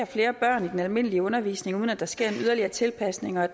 flere børn i den almindelige undervisning uden at der sker yderligere tilpasning og